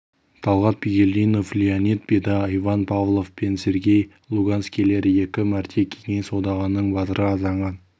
талғат бигелдинов леонид беда иван павлов пен сергей луганскийлер екі мәрте кеңес одағының батыры атанған